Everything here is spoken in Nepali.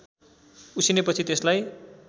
उसिनेपछि त्यसलाई